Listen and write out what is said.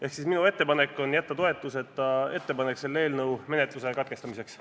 Ehk siis minu ettepanek on jätta toetuseta ettepanek selle eelnõu menetluse katkestamiseks.